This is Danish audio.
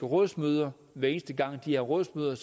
råds møder hver eneste gang de har rådsmøder